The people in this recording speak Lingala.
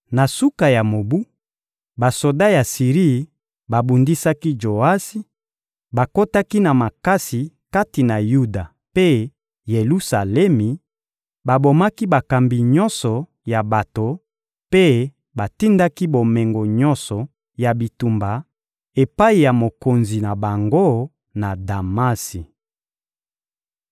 Na suka ya mobu, basoda ya Siri babundisaki Joasi, bakotaki na makasi kati na Yuda mpe Yelusalemi, babomaki bakambi nyonso ya bato mpe batindaki bomengo nyonso ya bitumba epai ya mokonzi na bango, na Damasi.